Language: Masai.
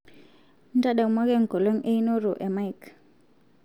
ntadamuaki enkolong einoto e mike